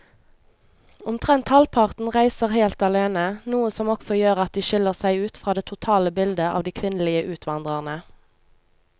Omtrent halvparten reiser helt alene, noe som også gjør at de skiller seg ut fra det totale bildet av de kvinnelige utvandrerne.